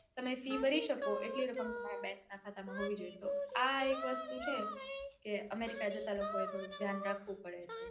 તમે ફી ભરી શકો એટલી તમારા bank ના ખાતામાં હોવી જોઈએ તો આ એક વસ્તુ છે કે અમેરિકા જતા રાખવું પડે છે.